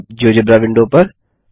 अब GeoGebra window पर